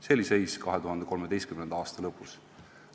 " Selline oli seis 2013. aasta lõpus.